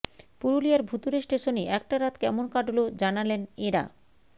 পুরুলিয়ার ভুতুড়ে স্টেশনে একটা রাত কেমন কাটল জানালেন এঁরা